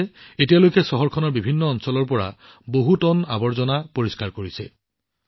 এই লোকসকলে এতিয়ালৈকে চহৰখনৰ বিভিন্ন অঞ্চলৰ পৰা বহু টন আৱৰ্জনা পৰিষ্কাৰ কৰিছে